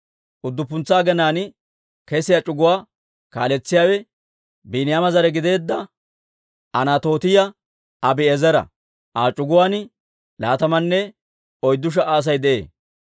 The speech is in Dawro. Udduppuntsa aginaan kesiyaa c'uguwaa kaaletsiyaawe Biiniyaama zare gideedda Anatootiyaa Abi'eezera; Aa c'uguwaan laatamanne oyddu sha"a Asay de'ee.